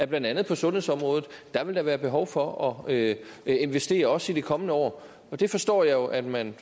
blandt andet på sundhedsområdet vil være behov for at investere også i de kommende år det forstår jeg jo at man